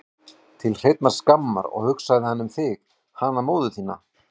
Til hreinnar skammar, og hugsaði hann um þig, hana móður sína?